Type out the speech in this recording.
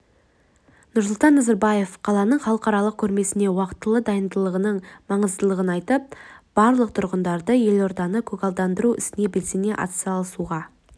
нұрсұлтан назарбаев қаланың халықаралық көрмесіне уақтылы дайындығының маңыздылығын айтып барлық тұрғындарды елорданы көгалдандыру ісіне белсене атсалысуға